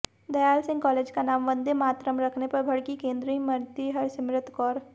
Dayal Singh college का नाम वंदेमातरम रखने पर भड़कीं केंद्रीय मंत्री हरसिमरत कौर